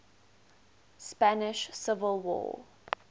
spanish civil war